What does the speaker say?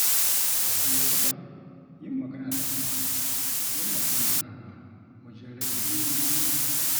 A wasu lokuta, yin magana da abokai yana taimakawa wajen rage nauyin zuciya.